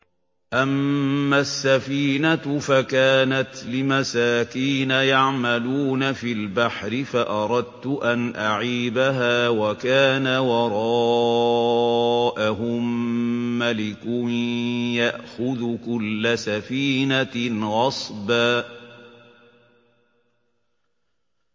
أَمَّا السَّفِينَةُ فَكَانَتْ لِمَسَاكِينَ يَعْمَلُونَ فِي الْبَحْرِ فَأَرَدتُّ أَنْ أَعِيبَهَا وَكَانَ وَرَاءَهُم مَّلِكٌ يَأْخُذُ كُلَّ سَفِينَةٍ غَصْبًا